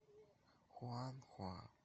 хуанхуа